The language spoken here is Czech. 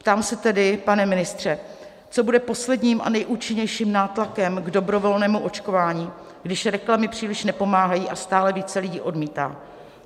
Ptám se tedy, pane ministře, co bude posledním a nejúčinnějším nátlakem k dobrovolnému očkování, když reklamy příliš nepomáhají a stále více lidí odmítá.